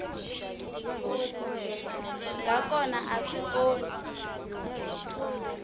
nga kona a swi onhi